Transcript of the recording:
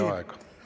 … räägin edaspidi.